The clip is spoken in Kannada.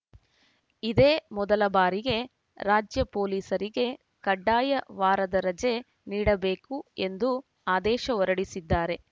ಇದೇ ಮೊದಲ ಬಾರಿಗೆ ರಾಜ್ಯ ಪೊಲೀಸರಿಗೆ ಕಡ್ಡಾಯ ವಾರದ ರಜೆ ನೀಡಬೇಕು ಎಂದು ಆದೇಶ ಹೊರಡಿಸಿದ್ದಾರೆ